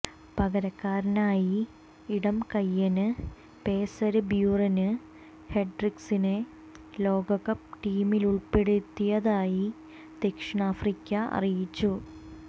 പകരക്കാരനായി ഇടംകൈയന് പേസര് ബ്യുറെന് ഹെന്ഡ്രിക്സിനെ ലോകകപ്പ് ടീമിലുള്പ്പെടുത്തിയതായി ദക്ഷിണാഫ്രിക്ക അറിയിച്ചു